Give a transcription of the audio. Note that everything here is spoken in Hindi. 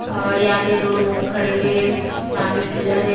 और यहां पे दो लोग खड़े हुए है सामने कुलर है।